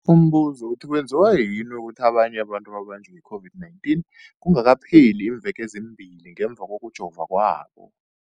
Umbuzo, kwenziwa yini ukuthi abanye abantu babanjwe yi-COVID-19 kungakapheli iimveke ezimbili ngemva kokujova kwabo?